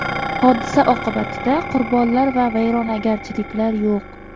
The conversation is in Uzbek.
Hodisa oqibatida qurbonlar va vayrongarchiliklar yo‘q.